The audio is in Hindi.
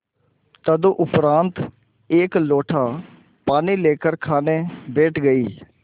तदुपरांत एक लोटा पानी लेकर खाने बैठ गई